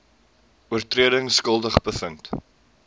oortredings skuldig bevind